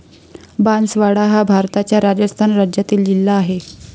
बांसवाडा हा भारताच्या राजस्थान राज्यातील जिल्हा आहे.